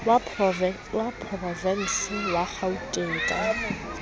wa porovense wa kgauteng ka